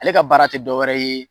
Ale ka baara tɛ dɔwɛrɛ ye